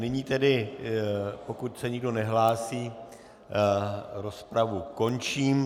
Nyní tedy, pokud se nikdo nehlásí, rozpravu končím.